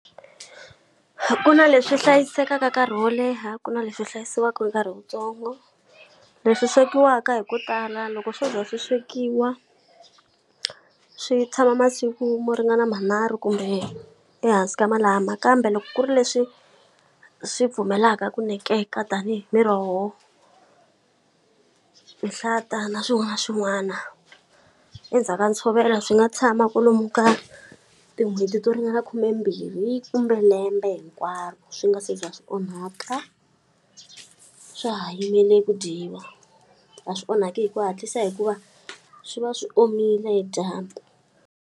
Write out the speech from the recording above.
Ku na leswi hlayisekaka nkarhi wo leha ku na leswi hlayisiwaka nkarhi wuntsongo. Leswi swekiwaka hi ku tala loko swo za swi swekiwa, swi tshama masiku mo ringana manharhu kumbe ehansi ka malama. Kambe loko ku ri leswi swi pfumelaka ku nekeka tanihi miroho, nhlata na swin'wana na swin'wana, endzhaku ka ntshovelo swi nga tshama ku lomu ka tin'hweti to ringana khumembirhi kumbe lembe hinkwaro swi nga se za swi onhaka, swa ha yimele ku dyiwa. A swi onhaki hi ku hatlisa hikuva swi va swi omile hi dyambu.